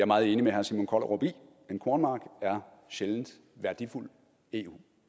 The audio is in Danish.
meget enig med herre simon kollerup i en kornmark er sjældent værdifuld eu